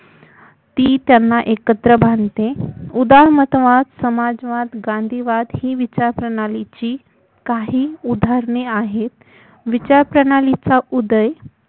ती त्यांना एकत्र बांधते उदारमतवाद समाजवाद क्रांतीवाद ही विचारप्रणालीची काही उदाहरणे आहेत विचारप्रणालीचा उदय